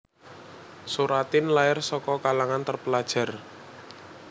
Soeratin lair saka kalangan terpelajar